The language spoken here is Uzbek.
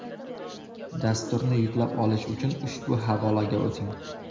Dasturni yuklab olish uchun ushbu havolaga o‘ting.